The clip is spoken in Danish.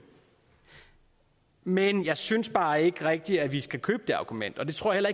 men jeg synes bare ikke rigtig at vi skal købe det argument og det tror jeg